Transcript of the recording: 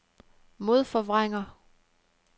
modforvrænger